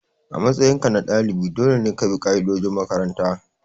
A matsayinka na dalibi dole ne ka bi ka'idojin makaranta.